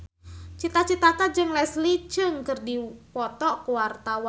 Cita Citata jeung Leslie Cheung keur dipoto ku wartawan